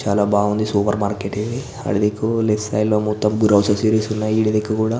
చాలా బావుంది super market ఇది ఇటు దిక్కు కూడా.